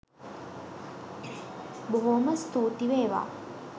බොහෝම ස්තූති වේවා.